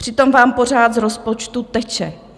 Přitom vám pořád z rozpočtu teče.